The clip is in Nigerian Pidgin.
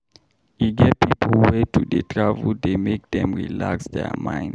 E get pipo wey to dey travel dey make dem relax their mind.